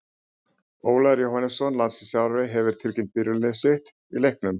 Ólafur Jóhannesson, landsliðsþjálfari, hefur tilkynnt byrjunarlið sitt í leiknum.